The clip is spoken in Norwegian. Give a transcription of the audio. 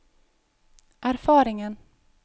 erfaringen